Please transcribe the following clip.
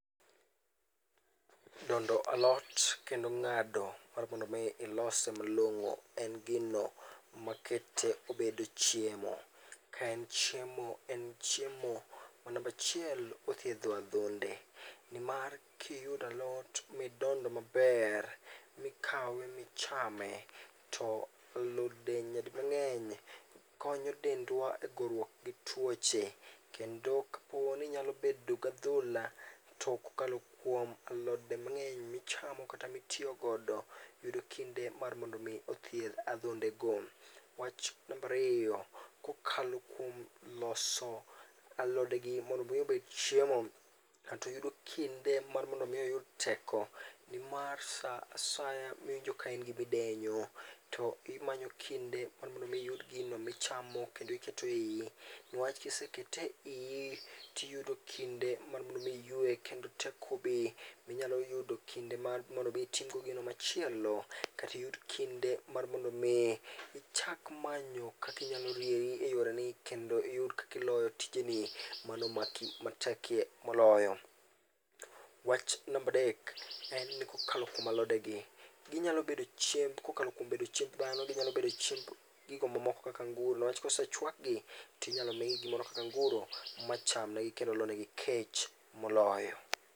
Dondo alot kendo ng'ado mar mondo mi ilose malong'o en gino makete obedo chiemo. Ka en chiemo, en chiemo to namba achiel, othiedho adhonde nimar kiyudo alot midondo maber, mikawe michame, to alode nyadimang'eny konyo dendwa e goruok gi tuoche kendo ka inyalo bedo gi adhola, to kokalo kuom alode mang'eny michamo kata mitiyo godo, yudo kinde mar mondo mi othiedh adhondego. Wach namba ariyo, kokalo kuom loso alodego mondo mi obed chiemo, kata iyudo kinde mar mondo mi iyud teko nimar saa asaya miwinjo ka in gi midenyo, to imanyo kinde mondo mi iyud gino michamo kendo iketo eiyi. Nimar kisekete eiyi to iyudo kinde mar mondo mi iyue, mondo teko obi minyalo yudo kinde mar mondo mi itim go gino machielo kata iyud kinde mar mondo mi ichak manyo kaka inyalo rieri eyoreni kendo iyud kaka iloyo tijeni mano matekie moloyo. Wach namba adek, en ni kokalo kuom alodegi, ginyalo bedo chiemb kokalo kuom bedo chiemb dhano, ginyalo bedo chiemb gigo ma moko kaka anguro, niwach kose chuakgi to inyalo migi kata anguro machamgi kendo lonegi kech moloyo.